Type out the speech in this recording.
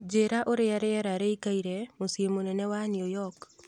njīra ūria rīera rīikaire mūciī munene wa new york